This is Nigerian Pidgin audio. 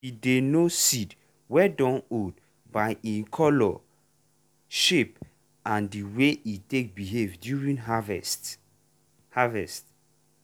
we dey know seed wey dun old by e color shape and the way e take behave during harvest. harvest.